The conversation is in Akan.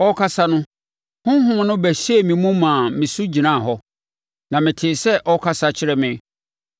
Ɔrekasa no, Honhom no bɛhyɛɛ me mu maa me so gyinaa hɔ, na metee sɛ ɔrekasa kyerɛ me.